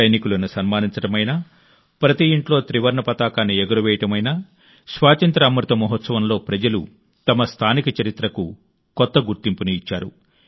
సైనికులను సన్మానించడమైనా ప్రతి ఇంట్లో త్రివర్ణ పతాకాన్ని ఎగురవేయడం అయినా స్వాతంత్ర్య అమృత మహోత్సవంలో ప్రజలు తమ స్థానిక చరిత్రకు కొత్త గుర్తింపును ఇచ్చారు